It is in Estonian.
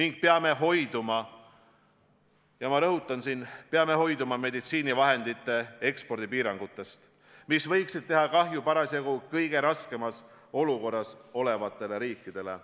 Me peame hoiduma – ma rõhutan seda – meditsiinivahendite ekspordi piirangutest, mis võiksid teha kahju parasjagu kõige raskemas olukorras olevatele riikidele.